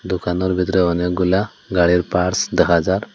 দোকানোর ভিতরে অনেকগুলা গাড়ির পার্টস দেখা যায়।